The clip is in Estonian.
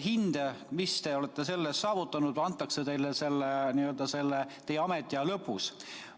hinne selle eest antakse teile teie ametiaja lõpus.